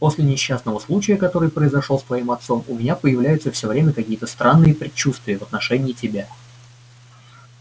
после несчастного случая который произошёл с твоим отцом у меня появляются всё время какие-то странные предчувствия в отношении тебя